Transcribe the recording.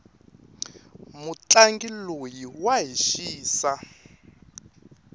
mutlangi loyi wa hi xisa